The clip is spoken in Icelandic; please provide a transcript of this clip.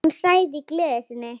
Hún sagði í gleði sinni: